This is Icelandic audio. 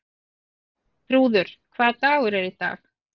Þrúður, hvaða dagur er í dag?